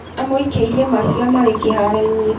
Amũikĩirie mahiga marĩ kĩhaaro-inĩ.